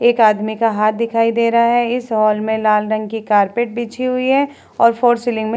एक आदमी का हाथ दिखाई दे रहा है। इस हॉल में लाल रंग की कारपेट बिछी हुई है और फोर सीलिंग में --